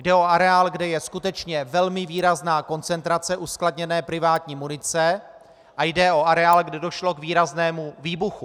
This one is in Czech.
Jde o areál, kde je skutečně velmi výrazná koncentrace uskladněné privátní munice, a jde o areál, kde došlo k výraznému výbuchu.